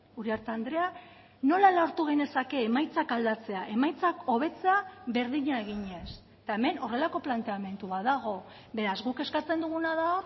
uriarte andrea nola lortu genezake emaitzak aldatzea emaitzak hobetzea berdina eginez eta hemen horrelako planteamendu bat dago beraz guk eskatzen duguna da